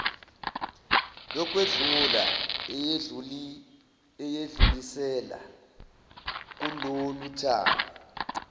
yokwedlula eyedlulisela kuloluthango